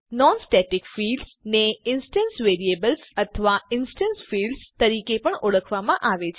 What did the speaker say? non static fields ને instance variables અથવા instance fields તરીકે પણ ઓળખવામાં આવે છે